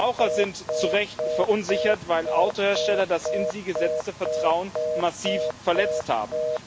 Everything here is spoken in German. Verbraucher sind zu Recht verunsichert, weil Autohersteller das in sie gesetzte Vertrauen massiv verletzt haben.